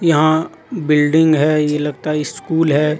यहां बिल्डिंग है ये लगता ये स्कूल है।